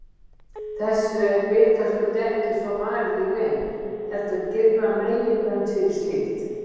Þessu er vitaskuld ekki svo varið í reynd, heldur girða meginlönd fyrir slíkt.